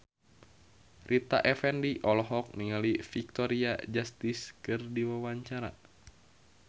Rita Effendy olohok ningali Victoria Justice keur diwawancara